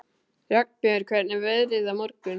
Ragnbjörg, hvernig er veðrið á morgun?